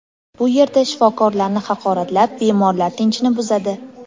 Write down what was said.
Bu yerda shifokorlarni haqoratlab, bemorlar tinchini buzadi.